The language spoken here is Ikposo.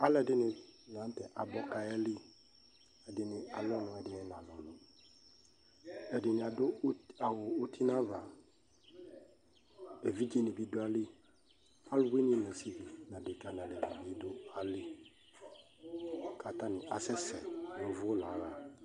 Alʋɛdɩnɩ la nʋ tɛ abɔ kʋ ayeli Ɛdɩnɩ alʋ ɔnʋ, ɛdɩnɩ nalʋ ɔnʋ Ɛdɩnɩ adʋ ut awʋ uti nʋ ava Evidzenɩ bɩ dʋ ayili, alʋwɩnɩ nʋ asɩvi nʋ adekǝ nʋ alevinɩ bɩ dʋ ayili kʋ atanɩ asɛsɛ ʋvʋ la aɣa